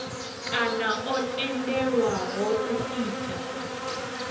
kana o tendelwaho u ita